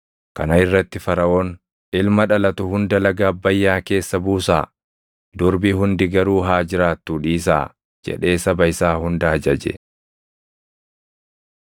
Kana irratti Faraʼoon, “Ilma dhalatu hunda laga Abbayyaa keessa buusaa; durbi hundi garuu haa jiraattuu dhiisaa” jedhee saba isaa hunda ajaje.